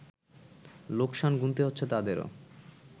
লোকসান গুনতে হচ্ছে তাদেরও